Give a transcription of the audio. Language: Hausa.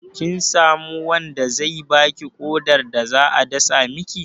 Kin samu wanda zai baki ƙodar da za a dasa miki?